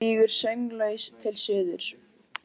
Flýgur sönglaus til suðurs.